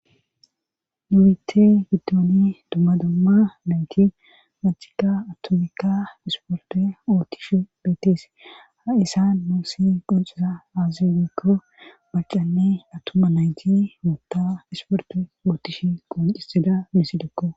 nu biite giddooni dumma dumma nayti macika attomikka isporte ootish beetees haisa noosi qoncisa aaze gikko macanne attumma nayti ootta isporte ootish qoncisida misidekko